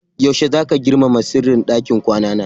Yaushe zaka girmama sirrin ɗakin kwana na?